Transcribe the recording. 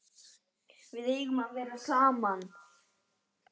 Við eigum að vera saman.